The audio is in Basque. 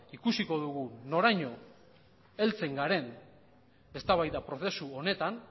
ikusiko dugu noraino heltzen garen eztabaida prozesu honetan